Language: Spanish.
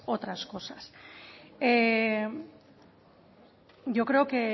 otras cosas yo creo